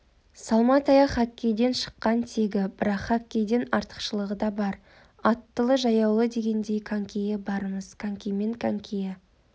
салма таяқ хоккейдің шыққан тегі бірақ хоккейден артықшылығы да бар аттылы-жаяулы дегендей конькиі барымыз конькимен конькиі